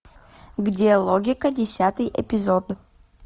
где логика десятый эпизод